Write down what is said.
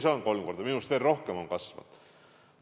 Minu meelest see on veel rohkem kasvanud.